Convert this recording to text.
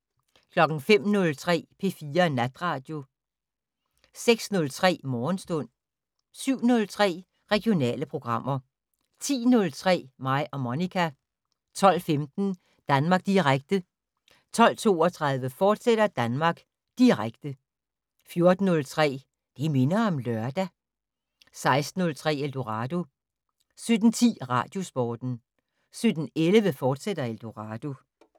05:03: P4 Natradio 06:03: Morgenstund 07:03: Regionale programmer 10:03: Mig og Monica 12:15: Danmark Direkte 12:32: Danmark Direkte, fortsat 14:03: Det minder om lørdag 16:03: Eldorado 17:10: Radiosporten 17:11: Eldorado, fortsat